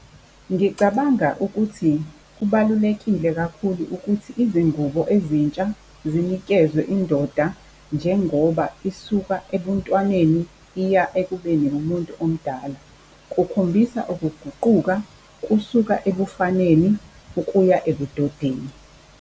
Ngicabanga ukuthi kubalulekile kakhulu ukuthi izingubo ezintsha zinikezwe indoda njengoba isuka ebuntwaneni iya ekubeni ngumuntu omdala. Kukhombisa ukuguquka kusuka ebufaneni ukuya ebudodeni.